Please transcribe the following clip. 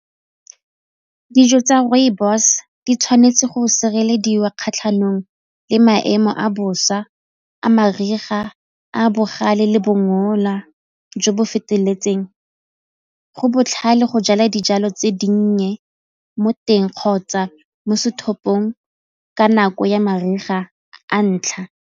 Dijo tsa rooibos di tshwanetse go sirelediwa kgatlhanong le maemo a bosa a mariga, a bogale le bongola jo bo feteletseng. Go botlhale go jala dijalo tse dinnye mo teng kgotsa mo ka nako ya mariga a ntlha.